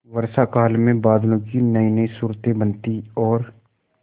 वर्षाकाल में बादलों की नयीनयी सूरतें बनती और